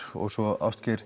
og svo